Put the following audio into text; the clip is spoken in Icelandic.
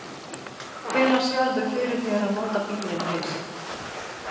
Lillý: Hvenær sérðu fyrir þér að nota bílinn fyrst?